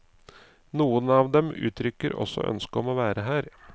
Noen av dem uttrykker også ønske om å være her.